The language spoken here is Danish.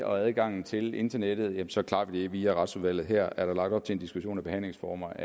og adgangen til internettet så klarer vi det via retsudvalget her er der lagt op til en diskussion om behandlingsformer